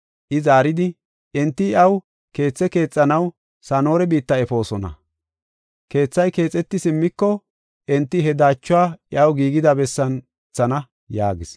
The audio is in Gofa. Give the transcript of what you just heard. I zaaridi, “Enti iyaw keethe keexanaw Sana7oora biitta efoosona. Keethay keexeti simmiko enti he daachuwa iyaw giigida bessan wothana” yaagis.